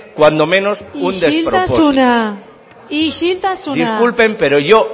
cuanto menos un despropósito isiltasuna isiltasuna disculpen pero